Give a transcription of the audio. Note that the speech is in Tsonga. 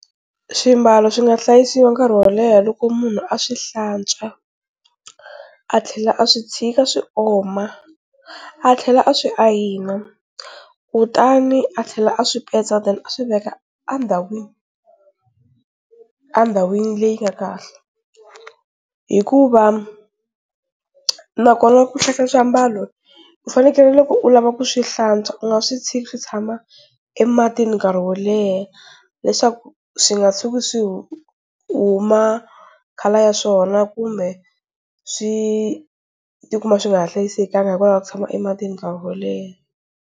Swimbalo swi nga hlayisiwa nkarhi wo leha loko munhu a swi hlantswa a tlhela a swi tshika swi oma a tlhela a swi ayina kutani a tlhela a swi petsa then a swi veka endhawini endhawini leyi nga kahle, hikuva nakona ku hlayisa swiambalo u fanekele loko u lava ku swi hlantswa u nga swi tshiki swi tshama emati nkarhi wo leha leswaku swi nga tshuki swi huma colour ya swona kumbe swi ti kuma swi nga ha hlayisekanga hikwalaho ka ku tshama ematini nkarhi wo leha.